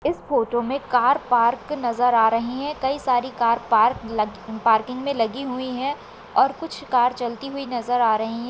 इस फोटो में car park नजर आर ही है। कई सारी कार पार्क लगी प पार्किंग मे लगी हुई है और कुछ कार चलती हुई नजर आ रही है।